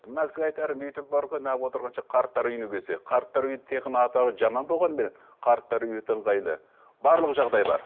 мына кісіге айтарым үйде бар ғой отырғанша қарттар үйіне келсе қарттар үйі тек қана атауы жаман болғанменен қарттар үйі өте ыңғайлы барлық жағдай бар